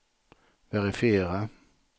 verifiera